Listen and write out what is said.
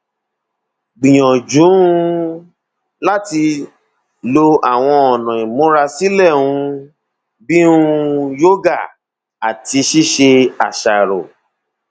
gbìyànjú um láti máa lo àwọn ọnà ìmúra sílẹ um bí um yoga àti ṣíṣe àṣàrò